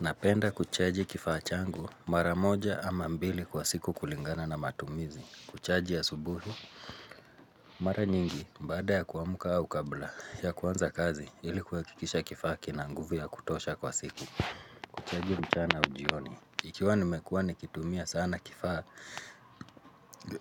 Napenda kuchaji kifaa changu mara moja ama mbili kwa siku kulingana na matumizi. Kuchaji asubuhi, mara nyingi baada ya kuamuka au kabla ya kuanza kazi ili kuhakikisha kifaa kina nguvu ya kutosha kwa siku. Kuchaji mchana au jioni, ikiwa nimekuwa nikitumia sana kifaa,